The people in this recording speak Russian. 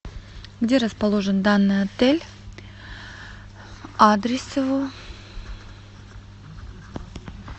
где расположен данный отель адрес его